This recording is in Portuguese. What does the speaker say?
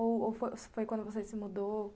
Ou ou foi quando você se mudou?